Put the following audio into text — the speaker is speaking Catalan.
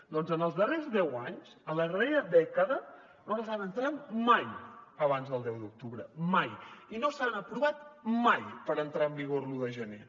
doncs en els darrers deu anys en la darrera dècada no els han entrat mai abans del deu d’octubre mai i no s’han aprovat mai per entrar en vigor l’un de gener